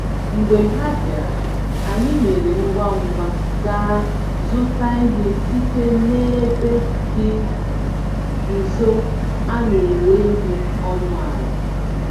Mgbe ha bịara, anyị mèrè ngwá ngwá gaa zụta ihe site n'ebe dị nso, a néré ihe ọnụ àlà